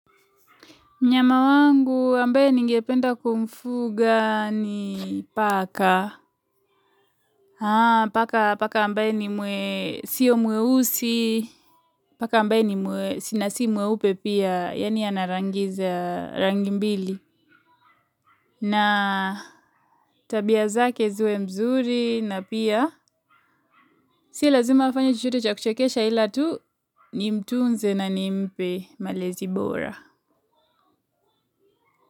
Mnyama wangu ambaye ningependa kumfuga ni paka. Haa, paka ambaye ni mwe, sio mweusi. Paka ambaye ni mwe, si na si mweupe pia, yaani ana rangi za rangi mbili. Na tabia zake ziwe mzuri na pia. Si lazima afanye chochote cha kuchekesha ila tu nimtunze na nimpe malezi bora.